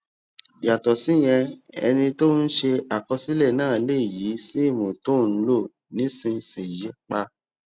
yàtò síyẹn ẹni tó ń ṣe àkọsílè náà lè yí sim tó ń lò nísinsìnyí pa